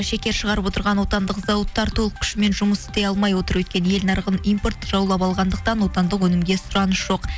шекер шығарып отырған отандық зауыттар толық күшімен жұмыс істей алмай отыр өйткені ел нарығын импорт жаулап алғандықтан отандық өнімге сұраныс жоқ